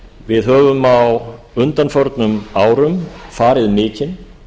við höfum á undanförnum árum farið mikinn